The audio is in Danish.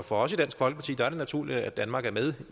for os i dansk folkeparti er det naturligt at danmark er med